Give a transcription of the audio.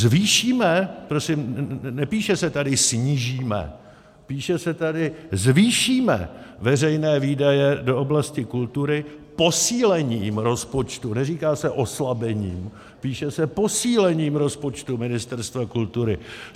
"Zvýšíme," prosím, nepíše se tady snížíme, píše se tady: "zvýšíme veřejné výdaje do oblasti kultury posílením rozpočtu," neříká se oslabením, píše se "posílením rozpočtu Ministerstva kultury.